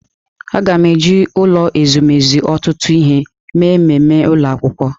Aga na-eji ụlọ ezumezu ọtụtụ ihe mee mmemme ụlọ akwụkwọ.